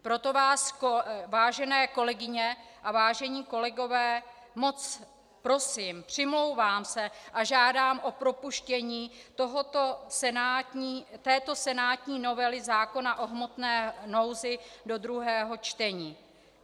Proto vás, vážené kolegyně a vážení kolegové, moc prosím, přimlouvám se a žádám o propuštění této senátní novely zákona o hmotné nouzi do druhého čtení.